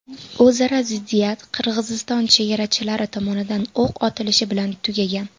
O‘zaro ziddiyat Qirg‘iziston chegarachilari tomonidan o‘q otilishi bilan tugagan.